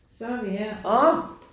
Så er vi her